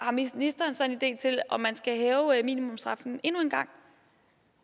ministeren så en idé til om man skal hæve minimumsstraffen endnu en gang